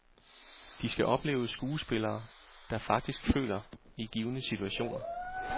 De skal opleve skuespillere, der faktisk føler i givne situationer.